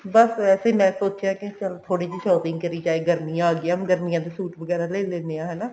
ਬੱਸ ਵੈਸੇ ਮੈਂ ਸੋਚਿਆ ਕੇ ਚੱਲ ਥੋੜੀ ਜੀ shopping ਕਰੀ ਜਾਏ ਗਰਮੀਆਂ ਆ ਗਿਆ ਹੁਣ ਗਰਮੀਆਂ ਦੇ suit ਵਗੈਰਾ ਲੈ ਲੇਣੇ ਆ ਹਨਾ